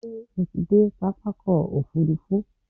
Ṣé o ti dé pápákọ̀ òfurufú?